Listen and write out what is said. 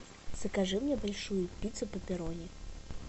закажи мне большую пиццу пепперони